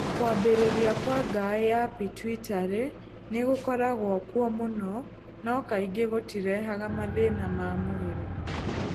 Kuumbĩrĩra kwa ngaĩ ya pituitary nĩ gũkoragwo kuo mũno no kaingĩ gũtirehaga mathĩna ma mwĩrĩ.